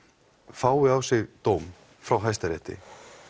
fái á sig dóm frá hæsta rétti